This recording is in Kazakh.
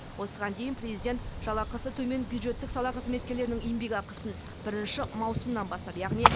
осыған дейін президент жалақысы төмен бюджеттік сала қызметкерлерінің еңбекақысын бірінші маусымнан бастап яғни